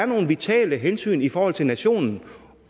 nogle vitale hensyn i forhold til nationen